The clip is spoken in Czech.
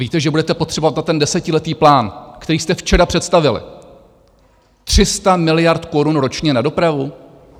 Víte, že budete potřebovat na ten desetiletý plán, který jste včera představili, 300 miliard korun ročně na dopravu?